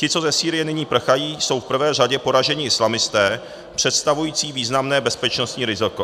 Ti, co ze Sýrie nyní prchají, jsou v prvé řadě poražení islamisté představující významné bezpečnostní riziko.